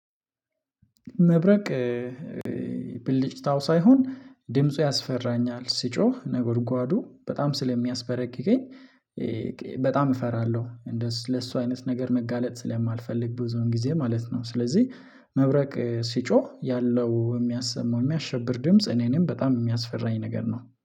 መብረቅ ብልጭታው ሳይሆን ድምፁ ያስፈራኛል ሲጮህ ነጎድጓዱ በጣም ስለሚያስበረግገኝ በጣም እፈራለሁ እንደው ለሱ አይነት ነገር መጋለጥ ስለማልፈልግ ብዙውን ጊዜ ማለት ነው። ስለዚህ መብረቅ ሲጮህ ያለው የሚያሰማው የሚያሸብር ድምጽ እኔንም በጣም የሚያስፈራኝ ነገር ነው